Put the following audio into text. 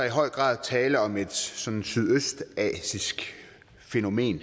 i høj grad tale om et sådan sydøstasiatisk fænomen